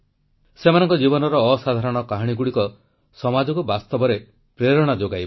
ସେମାନଙ୍କ ଜୀବନର ଅସାଧାରଣ କାହାଣୀଗୁଡ଼ିକ ସମାଜକୁ ବାସ୍ତବରେ ପ୍ରେରଣା ଯୋଗାଇବ